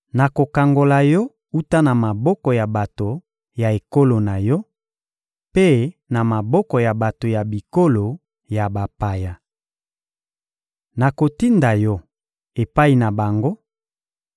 Nakokangola yo wuta na maboko ya bato ya ekolo na yo mpe na maboko ya bato ya bikolo ya bapaya. Nakotinda yo epai na bango